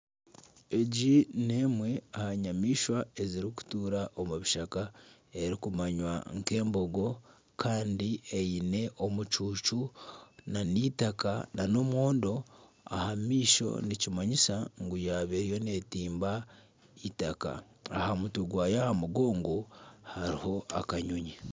Egi n'emwe aha nyamaishwa ezirikutuura omu bishaka erikumanywa nk'embogo kandi eine omucucu nana eitaka nana omwondo aha maisho nikimanyisa ngu yaaba eriyo neetimba eitaka aha mutwe gwayo aha mugongo hariho akanyonyi